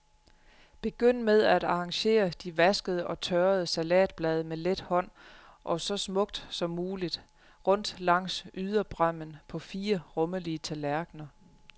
Begynd med at arrangere de vaskede og tørrede salatblade med let hånd, og så smukt som muligt, rundt langs yderbræmmen på fire rummelige tallerkener.